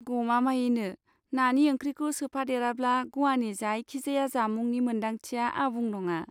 गमामायैनो, नानि ओंख्रिखौ सोफादेराब्ला ग'वानि जायखिजाया जामुंनि मोनदांथिया आबुं नङा।